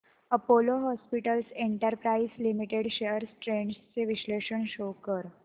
Apollo hospitals enterprise limited shares trends चे विश्लेषण show कर